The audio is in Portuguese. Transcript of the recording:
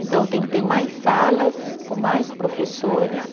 Então, eu tenho que ter mais salas com mais professores.